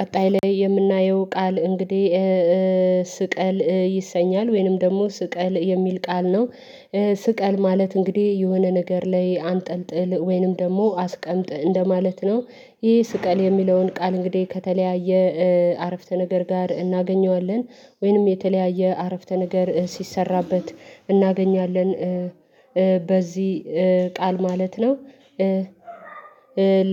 ቀጣይ ላይ የምናየው ቃል እንግዲህ ስቀል ይሰኛል፤ ወይንም ደግሞ ስቀል የሚል ቃል ነው። ስቀል ማለት እንግዲህ የሆነ ነገር ላይ አንጠልጥል ወይንም ደግሞ አስቀምጥ እንደማለት ነው። ይሄ ስቀል የሚለውን ቃል እንግዲህ ከተለያየ አረፍተ ነገር ጋር እናገኘዋለን ወይንም የተለያየ አረፍተ ነገር ሲሰራበት እናገኛለን በዚህ ቃል ማለት ነው።